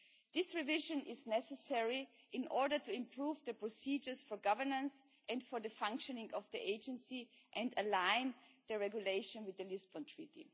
This revision is necessary in order to improve the procedures for governance and for the functioning of the Agency, and to align the regulation with the Lisbon Treaty.